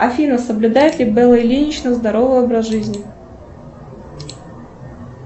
афина соблюдает ли белла ильинична здоровый образ жизни